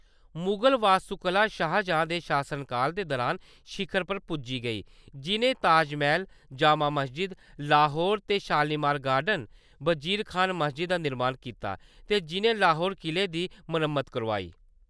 मुगल वास्तुकला शाहजहाँ दे शासनकाल दे दुरान शिखर पर पुज्जी गेई, जिʼनें ताजमैह्‌‌ल, जामा मस्जिद, लाहौर दे शालीमार गार्डन, बजीर खान मस्जिद दा निर्माण कीता ते जिʼनें लाहौर किले दी मरम्मत करोआई।